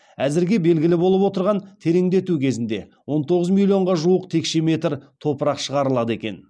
әзірге белгілі болып отырғаны тереңдету кезінде он тоғыз миллионға жуық текше метр топырақ шығарылады екен